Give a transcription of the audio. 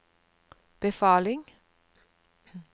befaling